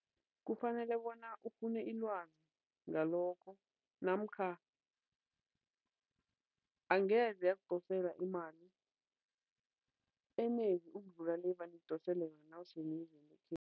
Kufanele bona ufune ilwazi ngalokho namkha angeze yakudosela imali enengi ukudlula le evane ikudosela yona nawuse